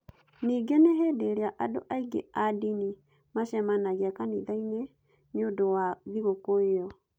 Ningĩ nĩ hĩndĩ ĩrĩa andũ aingĩ a ndini macemanagia kanitha-inĩ nĩ ũndũ wa thigũkũ ĩyo.